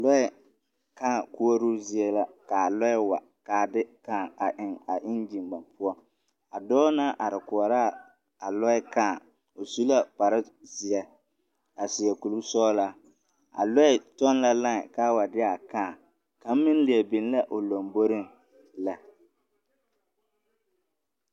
Lɔɛ kaa koɔroo zie la kaa lɔɛ wa kaa de kaa eŋ a eŋgyime poɔ a dɔɔ naŋ are koɔraa a lɔɛ kaa o su la kparrezeɛ a seɛ koresɔglaa a lɔɛ kyɔŋ la laen kaa wa de a kaa kaŋ meŋ leɛ beŋ la o lomboreŋ lɛ.